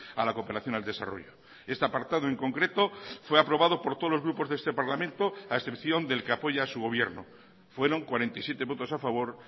a la cooperación al desarrollo este apartado en concreto fue aprobado por todos los grupos de este parlamento a excepción del que apoya su gobierno fueron cuarenta y siete votos a favor